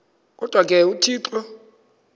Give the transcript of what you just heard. kodwa ke uthixo